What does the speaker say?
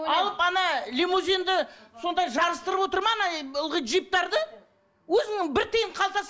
алып лимузинді сондай жарысытырып отыр ма ылғи джиптерді өзінің бір тиын қалтасы